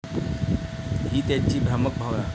ही त्यांची भ्रामक भावना.